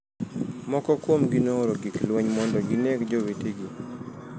Moko kuomgi nooro gik lweny mondo gineg jowetegi.